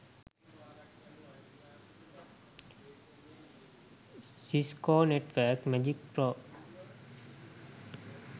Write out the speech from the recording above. cisco network magic pro